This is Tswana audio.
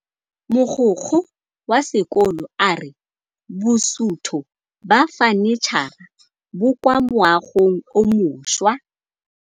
Mogokgo wa sekolo a re bosutô ba fanitšhara bo kwa moagong o mošwa.